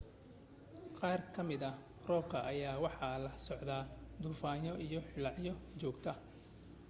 qaar ka mida roobka ayaa waxa la socday duufano iyo hilaacyo joogta